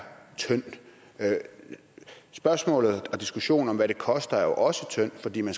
tyndt spørgsmålet og diskussionen om hvad det koster er jo også tynd fordi man